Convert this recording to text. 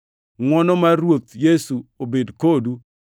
Ngʼwono mar Ruoth Yesu obed kodu.